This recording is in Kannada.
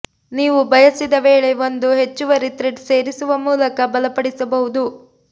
ನೀವು ಬಯಸಿದ ವೇಳೆ ಒಂದು ಹೆಚ್ಚುವರಿ ಥ್ರೆಡ್ ಸೇರಿಸುವ ಮೂಲಕ ಬಲಪಡಿಸಬಹುದು